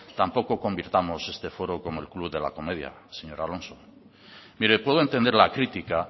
tampoco convirtamos este foro como el club de la comedia señor alonso mire puedo entender la crítica